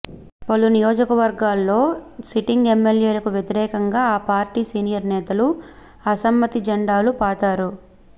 పలు నియోజకవర్గాల్లో సిటింగ్ ఎమ్మెల్యేలకు వ్యతిరేకంగా ఆ పార్టీ సీనియర్ నేతలు అసమ్మతి జెండాలు పాతారు